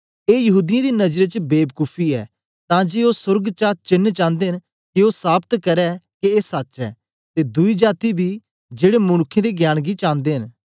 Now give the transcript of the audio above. ए यहूदीयें दी नजरें च बेबकूफी ऐ तां जे ओ सोर्ग चा चेन्न चांदे न के ओ साबत करै के ए सच्च ऐ ते दुई जाती बी जेड़े मनुक्खे दे ज्ञान गी चांदे न